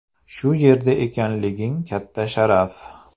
Shu yerda ekanliging katta sharaf.